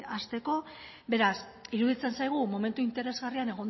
hasteko beraz iruditzen zaigu momentu interesgarrian